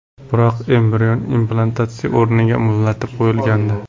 Biroq, embrion implantatsiya o‘rniga muzlatib qo‘yilgandi.